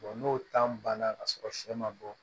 n'o banna ka sɔrɔ sɛ ma bɔ